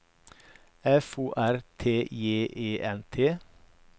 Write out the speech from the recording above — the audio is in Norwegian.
F O R T J E N T